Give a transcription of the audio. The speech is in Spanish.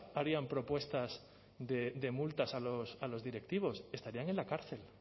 harían propuestas de multas a los directivos estarían en la cárcel